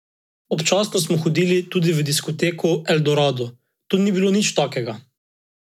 Kljub vsemu je prikazal novo dobro predstavo in z desetim mestom zaključuje posamične nastope na olimpijskih igrah v Pjongčangu.